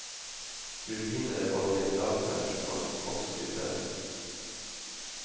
Turbiner og generatorer kan også utbedres.